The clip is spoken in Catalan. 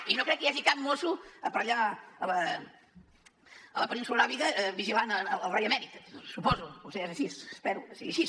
i no crec que hi hagi cap mosso per allà a la península aràbiga vigilant el rei emèrit suposo potser ja és així espero que sigui així